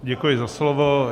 Děkuji za slovo.